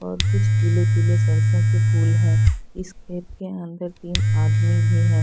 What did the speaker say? और कुछ पीले पीले सरसो के फूल हैं इस खेत के अंदर तीन आदमी भी हैं।